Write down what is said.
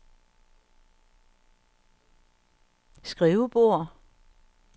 skrivebord